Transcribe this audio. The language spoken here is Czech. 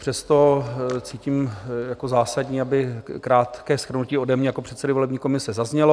Přesto cítím jako zásadní, aby krátké shrnutí ode mne jako předsedy volební komise zaznělo.